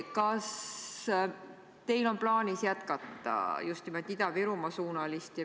Kas teil on plaanis jätkata tegutsemist just nimelt Ida-Virumaa suunas?